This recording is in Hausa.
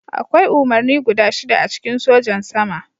Akwai umarni guda shida a cikin Sojan Sama.